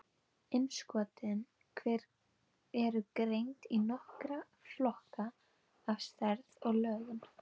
Innskotin eru greind í nokkra flokka eftir stærð og lögun.